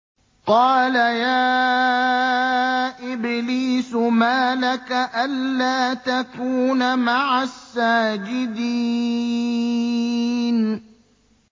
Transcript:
قَالَ يَا إِبْلِيسُ مَا لَكَ أَلَّا تَكُونَ مَعَ السَّاجِدِينَ